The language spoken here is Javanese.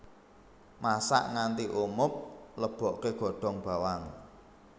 Masak nganti umub leboke godhong bawang